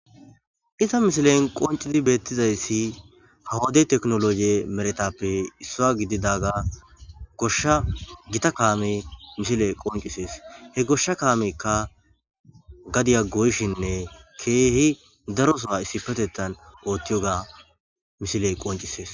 Iza misilen qoncidi beettizayssi hawadey teknologie meretappe issoa gididaga goshsha gita kaame misile qoncisees he goshsha kaamekka gadiya goyshinne keehi darosoha issi petettan oothtiyoga misiley qoncisees.